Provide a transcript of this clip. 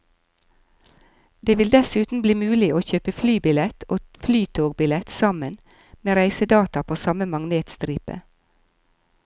Det vil dessuten bli mulig å kjøpe flybillett og flytogbillett sammen, med reisedata på samme magnetstripe.